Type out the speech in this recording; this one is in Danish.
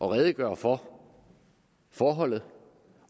at redegøre for forholdet